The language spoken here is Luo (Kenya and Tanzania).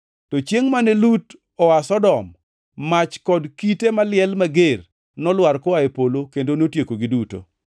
To chiengʼ mane Lut oa Sodom, mach kod kite maliel mager nolwar koa e polo kendo notiekogi duto.